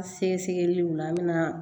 Sɛgɛsɛgɛliw la an bɛna